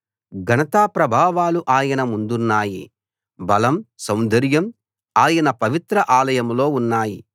ఘనతాప్రభావాలు ఆయన ముందున్నాయి బలం సౌందర్యం ఆయన పవిత్ర ఆలయంలో ఉన్నాయి